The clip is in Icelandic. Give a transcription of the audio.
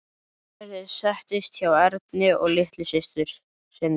Gerður settist hjá Erni og litlu systur sinni.